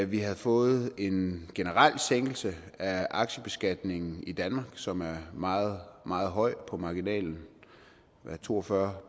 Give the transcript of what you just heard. vi havde fået en generel sænkning af aktiebeskatningen i danmark som er meget meget høj på marginalen to og fyrre